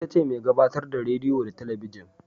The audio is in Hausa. Ita ce mai gabatar da rediyo da talabijin